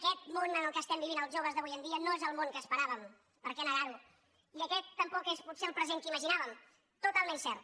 aquest món en què estem vivint els joves d’avui en dia no és el món que esperàvem per què negar ho i aquest tampoc és potser el present que imaginàvem totalment cert